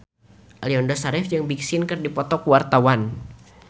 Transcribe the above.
Aliando Syarif jeung Big Sean keur dipoto ku wartawan